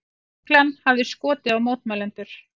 Lögreglan hafi skotið á mótmælendur